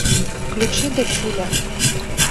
включи дочуля